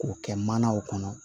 K'o kɛ manaw kɔnɔ